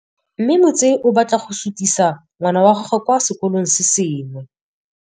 Mme Motsei o batla go sutisa ngwana wa gagwe kwa sekolong se sengwe.